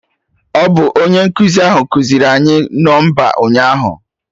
Ọ bụ onye nkụzi ahụ kụziiri anyị nọmba ụnyaahụ?